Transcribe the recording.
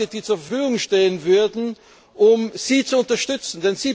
die zur Verfügung stehen würden, um Sie zu unterstützen.